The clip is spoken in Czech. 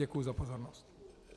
Děkuji za pozornost.